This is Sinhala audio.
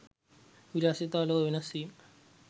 විලාසිතා ලොව වෙනස් වීම